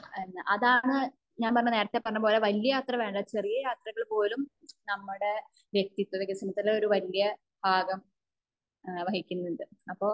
അതാണ് ഞാൻ പറഞ്ഞ നേരത്തെ പറഞ്ഞപോലെ വല്യ യാത്ര വേണ്ട ചെറിയ യാത്രകൾ പോലും നമ്മുടെ വ്യക്തിത്വ വികസനത്തിന് ഒരു വല്യ ഭാഗം ഏഹ്ഹ് വഹിക്കുന്നുണ്ട് അപ്പോ